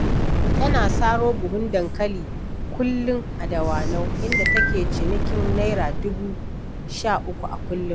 Tana saro buhun dankali kullum a Dawanau, inda take cinikin Naira dubu sha uku a kullum.